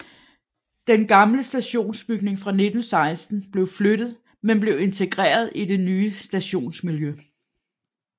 Den gamle stationsbygning fra 1916 blev flyttet men blev integreret i det nye stationsmiljø